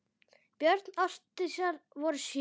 Börn Ásdísar voru sjö.